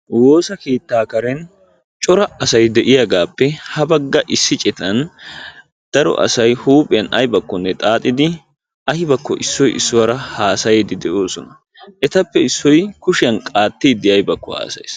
Woosa keettaa karen cora asay de'iyagaappe ha bagga issi citan daro asay huuphiyan aybakkonne xaaxidi aybakko issoy issuwara haasayiiddi de'oosona. Etappe issoy kushiyan qaattiiddi aybakko haasayees.